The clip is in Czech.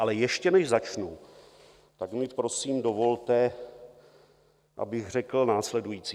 Ale ještě než začnu, tak mi prosím dovolte, abych řekl následující.